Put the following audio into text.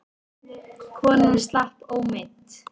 Konan slapp ómeidd.